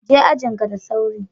je ajin ka da sauri.